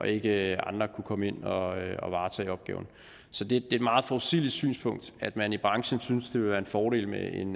ikke andre kunne komme ind og og varetage opgaven så det er et meget forudsigeligt synspunkt at man i branchen synes det vil være en fordel med en